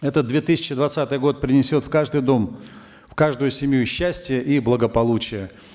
этот две тысячи двадцатый год принесет в каждый дом в каждую семью счастье и благополучие